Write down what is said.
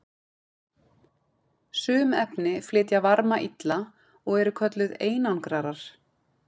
sum efni flytja varma illa og eru kölluð einangrarar